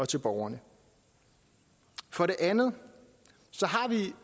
til borgerne for det andet